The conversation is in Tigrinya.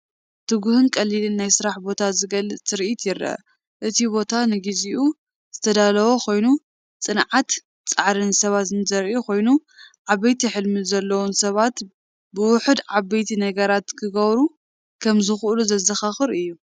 ትጉህን ቀሊልን ናይ ስራሕ ቦታ ዝገልጽ ትርኢት ይርአ። እቲ ቦታ ንግዚኡ ዝተዳለወ ኮይኑ፡ ጽንዓትን ጻዕርን ሰባት ዘርኢ ኮይኑ፡ ዓበይቲ ሕልሚ ዘለዎም ሰባት ብውሑድ ዓበይቲ ነገራት ክገብሩ ከም ዝኽእሉ ዘዘኻኽር እዩ፡፡